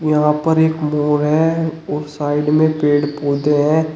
यहां पर एक मोर है और साइड में पेड़ पौधे हैं।